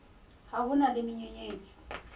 ha ho na le menyenyetsi